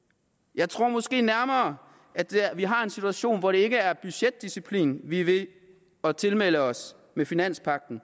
jeg tror måske nærmere vi har en situation hvor det ikke er budgetdisciplin vi er ved at tilmelde også med finanspagten